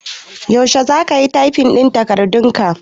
Yaushe za ka yi tyfin takardun?